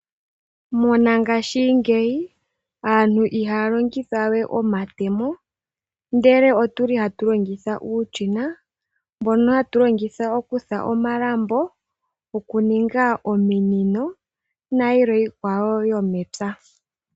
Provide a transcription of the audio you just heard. Mongashingeyi aantu ihaya longitha we omatemo, ndele otuli hatu longitha uushina mbono hawu longithwa okufula omalambo, okuninga ominino nayikwawo yilwe yomepya.